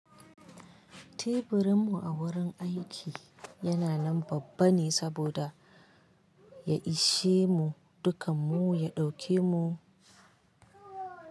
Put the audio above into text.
Teburin mu a wurin aiki yana nan babban ne saboda ya ishe mu dukan mu, ya ɗauke mu.